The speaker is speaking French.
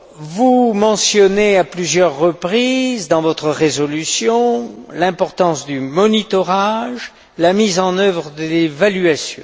Vous mentionnez à plusieurs reprises, dans votre résolution, l'importance du suivi, la mise en œuvre de l'évaluation.